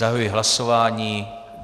Zahajuji hlasování.